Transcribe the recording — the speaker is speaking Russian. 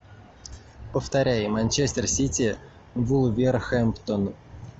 повторяй манчестер сити вулверхэмптон